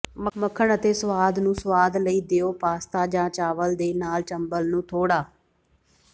ਮੱਖਣ ਅਤੇ ਸਵਾਦ ਨੂੰ ਸੁਆਦ ਲਈ ਦਿਓ ਪਾਸਤਾ ਜਾਂ ਚਾਵਲ ਦੇ ਨਾਲ ਚੰਬਲ ਨੂੰ ਥੋੜਾ